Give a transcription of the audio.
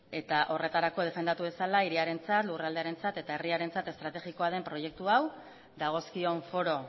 eta horretarako defendatu dezala hiriarentzat lurraldearentzat eta herriarentzat estrategikoa den proiektu hau dagozkion foro